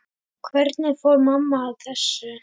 Hvernig fór mamma að þessu?